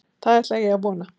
Það ætla ég að vona.